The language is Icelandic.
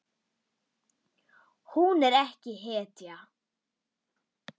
Hún er ekki hetja.